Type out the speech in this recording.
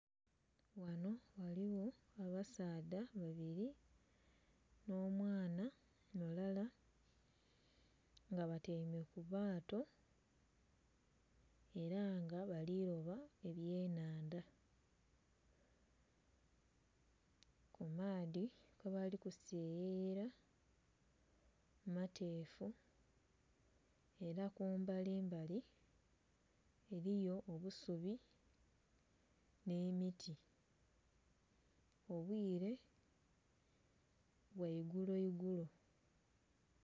Ghanho ghaligho abasaadha babili nh'omwana mulala nga batyaime ku lyato ela nga bali loba ebyenhandha. Ku maadhi kwe bali seyeyela mateefu ela kumbalimbali eliyo obusubi nh'emiti. Obwire bwa igulo igulo.